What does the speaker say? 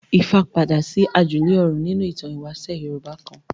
Ifá padà sí àjùlé ọ̀run nínú ìtàn ìwáṣẹ̀ Yorùbá kan.